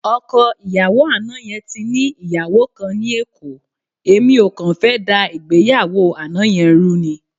Ọkọ ìyàwó àná yẹn ti ní ìyàwó kan ní Èkó, èmi ò kàn fẹ́ dá ìgbéyàwó àná yẹn rú ni.